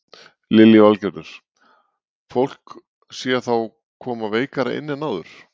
Lillý Valgerður: Fólk sé þá koma veikara inn en áður?